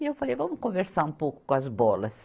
E eu falei, vamos conversar um pouco com as bolas.